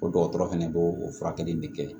O dɔgɔtɔrɔ fɛnɛ b'o o furakɛli de kɛ